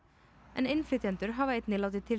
en innflytjendur hafa einnig látið til